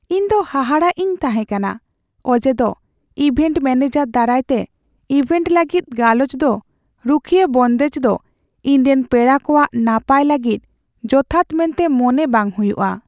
ᱤᱧ ᱫᱚ ᱦᱟᱦᱟᱲᱟᱜ ᱤᱧ ᱛᱟᱦᱮᱸ ᱠᱟᱱᱟ ᱚᱡᱮᱫᱚ ᱤᱵᱷᱮᱱᱴ ᱢᱮᱹᱱᱮᱡᱟᱨ ᱫᱟᱨᱟᱭᱛᱮ ᱤᱵᱷᱮᱱᱴ ᱞᱟᱹᱜᱤᱫ ᱜᱟᱞᱚᱪ ᱫᱚ ᱨᱩᱠᱷᱤᱭᱟᱹ ᱵᱚᱱᱫᱮᱡ ᱫᱚ ᱤᱧ ᱨᱮᱱ ᱯᱮᱲᱟ ᱠᱚᱣᱟᱜ ᱱᱟᱯᱟᱭ ᱞᱟᱹᱜᱤᱫ ᱡᱚᱛᱷᱟᱛ ᱢᱮᱱᱛᱮ ᱢᱚᱱᱮ ᱵᱟᱝ ᱦᱩᱭᱩᱜᱼᱟ ᱾